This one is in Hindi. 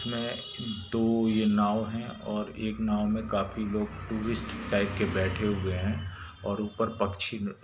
-- मै दो ये नाव् है और एक नाव मै काफी लोग टूरिस्ट टाइप के बैठे हुए है| और ऊपर पक्षी--